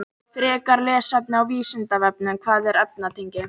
Frekara lesefni á Vísindavefnum: Hvað eru efnatengi?